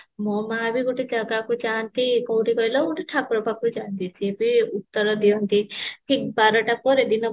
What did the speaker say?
ମୋ ମା ବି ଗୋଟେ କାହା ଯାଆନ୍ତି କଉଠି କହିଲା ଗୋଟେ ଠାକୁର ପାଖକୁ ଯାନ୍ତି ସିଏ ବି ଉତ୍ତର ଦିଅନ୍ତି ଠିକ ବାରଟା ପରେ ଦିନ ବାରଟା ପରେ